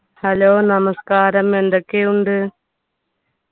hello നമസ്കാരം എന്തൊക്കെയുണ്ട്